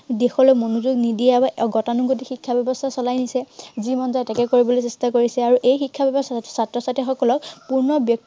দিশলৈ মনোযোগ নিদিয়ে আৰু গতানুগতিক শিক্ষা ব্য়ৱস্থা চলাই আহিছে। যি মন যায় তাকেই কৰিবলৈ চেষ্টা কৰিছে। আৰু এই শিক্ষা ব্য়ৱস্থাই ছাত্ৰ-ছাত্ৰীসকলক পূৰ্ণ ব্য়ক্তিত্ব